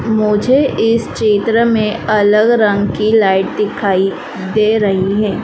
मुझे इस चित्र में अलग रंग की लाइट दिखाई दे रही है।